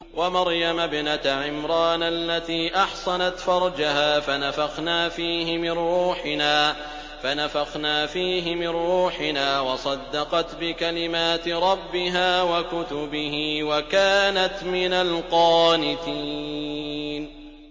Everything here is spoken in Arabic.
وَمَرْيَمَ ابْنَتَ عِمْرَانَ الَّتِي أَحْصَنَتْ فَرْجَهَا فَنَفَخْنَا فِيهِ مِن رُّوحِنَا وَصَدَّقَتْ بِكَلِمَاتِ رَبِّهَا وَكُتُبِهِ وَكَانَتْ مِنَ الْقَانِتِينَ